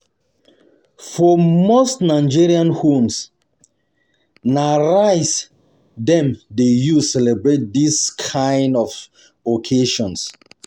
For most Nigerian homes, na rice dem dey use celebrate this kind this kind of occasion.